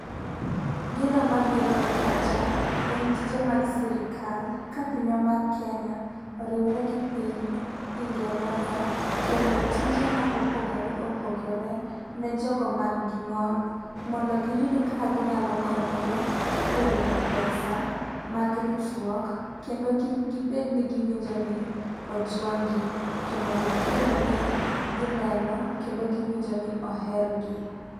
Gino mabiro e pacha en tije mag sirkal, ka pinywa mar Kenya oriwore gi piny Ingereza, kelo tije ma opogore opogore, ne jogo man gi ng'ol, mondo giyud kaka ginyalo konyore e yudo pesa mag ritruok kendo kik gibed niginjo ni ojwang'gi to mondo gibed ni gineno kendo giwinjo ni ohergi